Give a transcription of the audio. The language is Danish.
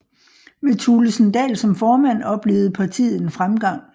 Med Thulesen Dahl som formand oplevede partiet en fremgang